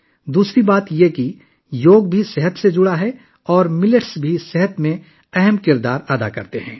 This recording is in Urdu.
دوسری بات یہ کہ یوگا کا تعلق صحت سے بھی ہے اور جوار بھی صحت میں اہم کردار ادا کرتا ہے